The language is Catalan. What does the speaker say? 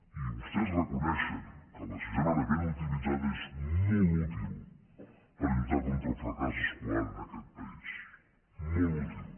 i vostès reconeixen que la sisena hora ben utilitzada és molt útil per lluitar contra el fracàs escolar en aquest país molt útil